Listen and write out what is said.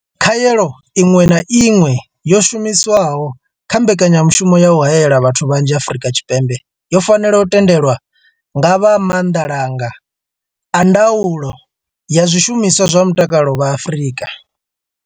Khaelo iṅwe na iṅwe yo shumiswaho kha mbekanyamushumo ya u haela vhathu vhanzhi Afrika Tshipembe yo fanela u tendelwa nga vha maanḓalanga a ddaulo ya zwishumiswa zwa mutakalo vha Afrika.